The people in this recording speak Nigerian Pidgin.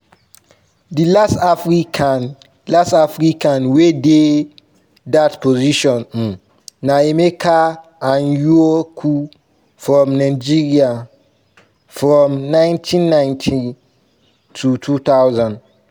di last african last african wey dey dat position um na emeka anyaoku from nigeria from 1990 - 2000.